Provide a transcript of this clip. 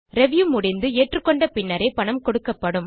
review முடிந்து ஏற்றுக்கொண்ட பின்னரே பணம் கொடுக்கப்படும்